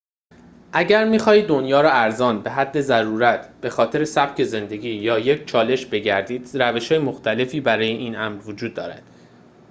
اگر می‌خواهید دنیا را ارزان به حد ضرورت به‌خاطر سبک زندگی یا یک چالش بگردید روش‌های مختلفی برای این امر وجود دارد